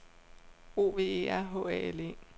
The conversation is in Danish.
O V E R H A L E